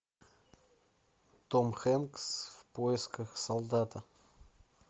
том хэнкс в поисках солдата